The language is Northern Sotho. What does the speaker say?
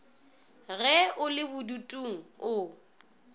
ge o le bodutung o